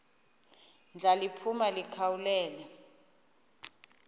ndla liphuma likhawulele